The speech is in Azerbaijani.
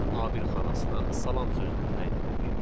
Gəlin A1 xanasına salam sözünü təyin edək.